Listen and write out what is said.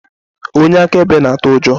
Onye akaebe na-atụ ụjọ